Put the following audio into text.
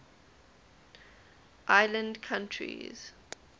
island countries